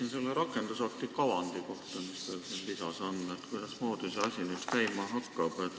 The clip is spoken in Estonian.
Ma küsin rakendusakti kavandi kohta, mis siin lisas on ja mis näitab, kuidasmoodi see asi olema hakkab.